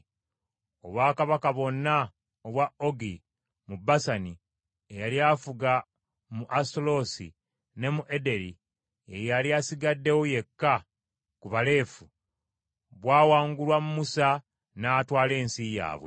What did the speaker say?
Obwakabaka bwonna obwa Ogi mu Basani, eyali afuga mu Asutaloosi ne mu Ederei, ye yali asigaddewo yekka ku Balefa, bwawangulwa Musa n’atwala ensi yaabwe.